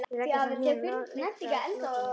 Þau leggjast á hnén og lyfta upp lokinu.